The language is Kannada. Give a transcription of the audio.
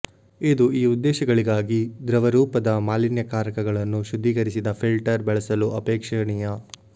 ಇದು ಈ ಉದ್ದೇಶಗಳಿಗಾಗಿ ದ್ರವರೂಪದ ಮಾಲಿನ್ಯಕಾರಕಗಳನ್ನು ಶುದ್ಧೀಕರಿಸಿದ ಫಿಲ್ಟರ್ ಬಳಸಲು ಅಪೇಕ್ಷಣೀಯ